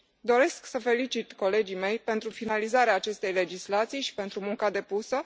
Doresc să felicit colegii mei pentru finalizarea acestei legislații și pentru munca depusă.